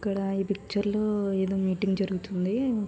ఇక్కడ ఈ పిక్చర్ లో ఏదో మీటింగ్ జరుగుతుంది.